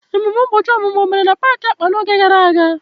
Ememe ụbọchị ọmụmụ o mere na paaki akpa n'oge gara aga?